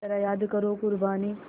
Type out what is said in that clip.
ज़रा याद करो क़ुरबानी